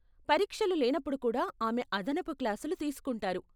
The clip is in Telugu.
పరీక్షలు లేనప్పుడు కూడా ఆమె అదనపు క్లాసులు తీసుకుంటారు.